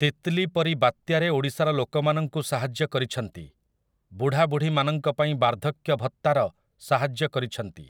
ତିତ୍‌ଲୀ' ପରି ବାତ୍ୟାରେ ଓଡ଼ିଶାର ଲୋକମାନଙ୍କୁ ସାହାଯ୍ୟ କରିଛନ୍ତି । ବୁଢ଼ାବୁଢ଼ୀମାନଙ୍କ ପାଇଁ ବାର୍ଦ୍ଧକ୍ୟ ଭତ୍ତାର ସାହାଯ୍ୟ କରିଛନ୍ତି ।